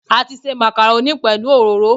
A ti se màkàrónì pẹ̀lú òróró